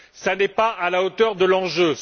Cela n'est pas à la hauteur de l'enjeu.